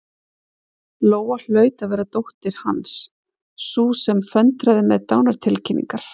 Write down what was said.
Lóa hlaut að vera dóttir Hans, sú sem föndraði með dánartilkynningar.